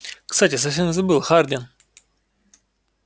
кстати совсем забыл хардин